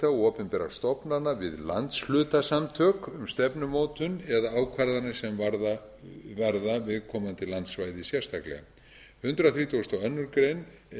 opinberra stofnana við landshlutasamtök um stefnumótun eða ákvarðanir sem varða viðkomandi landsvæði sérstaklega í hundrað þrítugasta og aðra grein